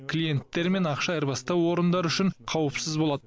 клиенттер мен ақша айырбастау орындары үшін қауіпсіз болады